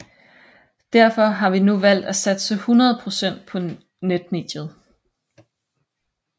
Derfor har vi nu valgt at satse 100 procent på netmediet